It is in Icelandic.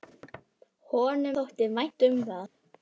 Honum þótti vænt um það.